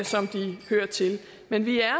som de hører til men vi er